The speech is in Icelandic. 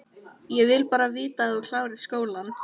Ég vil bara að þú klárir skólann